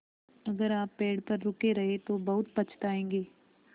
अगर आप पेड़ पर रुके रहे तो बहुत पछताएँगे